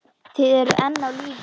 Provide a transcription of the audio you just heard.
Þið eruð enn á lífi!